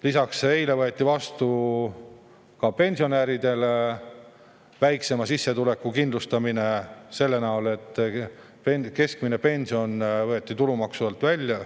Lisaks, eile võeti vastu ka pensionäridele väiksema sissetuleku kindlustamine: keskmine pension võeti tulumaksu alt välja.